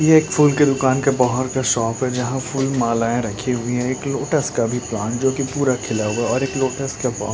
ये एक फूल की दुकान के बाहर का शॉप जहा फूल मालाये रखी हुई है। एक लोटस का भी प्लांट जोकि पूरा खिला हुआ है और एक लोटस का प --